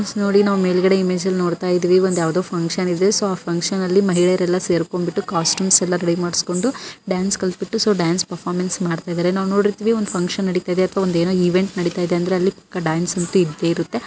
Friend ನೋಡಿ ನಾವು ಮೇಲ್ಗಡೆ ಇಮೇಜ್ ಅಲ್ಲಿ ನೋಡ್ತಾಯಿದ್ದೇವೆ ಒಂದು ಯಾವದೋ ಫ್ಹಂಕ್ಷನ್ ಇದೆ ಸೊ ಆ ಫ್ಹಂಕ್ಷನ್ ಅಲ್ಲಿ ಮಹಿಳೆಯರೆಲ್ಲ ಸೇರ್ಕೊಂಡ್ ಬಿಟ್ಟು ಕಾಸ್ಟ್ಯೂಮ್ಸ್ ಎಲ್ಲ ರೆಡಿ ಮಾಡಿಕೋಂಬಿಟ್ಟು ಡ್ಯಾನ್ಸ್ ಕಲಿತಬಿಟ್ಟು ಸೊ ಡ್ಯಾನ್ಸ್ ಪರ್ಫಾರ್ಮೆನ್ಸ್ ಮಾಡ್ತಿದ್ದಾರೆ ನಾವು ನೋಡಿರ್ತೀವಿ ಒಂದು ಫ್ಹಂಕ್ಷನ್ ನಡೀತಿದೆ ಅಥವಾ ಏನೋ ಒಂದು ಇವೆಂಟ್ ನಡೀತಿದೆ ಅಂದ್ರೆ ಅಲ್ಲಿ ಪಕ್ಕಾ ಡಾನ್ಸ್ ಅಂತೂ ಇದ್ದೆ ಇರುತ್ತೆ.